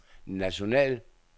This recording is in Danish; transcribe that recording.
national